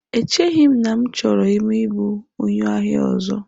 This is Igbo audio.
Echeghị m na achọrọ m ịbụ onye ahịa ọzọ.